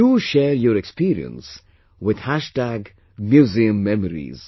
Do share your experience with MuseumMemories